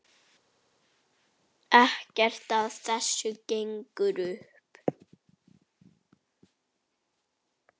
Ekkert af þessu gengur upp.